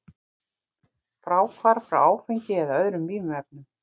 Fráhvarf frá áfengi eða öðrum vímuefnum.